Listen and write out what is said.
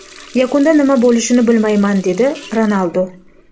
Yakunda nima bo‘lishini bilmayman”, – dedi Ronaldu.